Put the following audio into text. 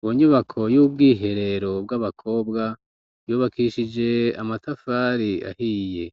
Ubunyubako y'ubwiherero bw'abakobwa yubakishije amatafari ahiye